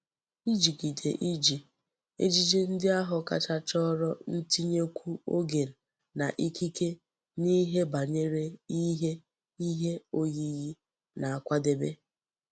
Ijigide iji ejiji ndi ahu kacha choro ntinyekwu ogen na ikike n'ihe banyere ihe ihe oyiyi na nkwadebe.